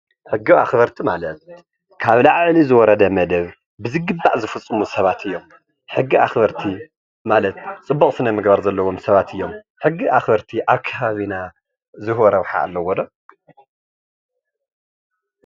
ሕጊ ኣክበርቲ ማለት ካብ ላዕሊ ዝወረደ መደብ ብዝግባእ ዝፍፅሙ ሰባት እዮም፡፡ ሕጊ ኣክበርቲ ማለት ፅቡቅ ስነ ምግባር ዘለዎም ሰባት እዮም፡፡ ሕጊ ኣክበርቲ ኣብ ከበቢና ዝህቦ ረብሓ ኣለዎዶ?